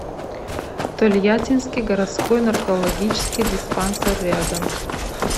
тольяттинский городской наркологический диспансер рядом